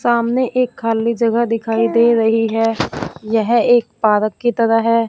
सामने एक खाली जगह दिखाई दे रही है यह एक पार्क की तरह है।